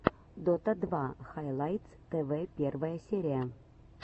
дота два хайлайтс тв первая серия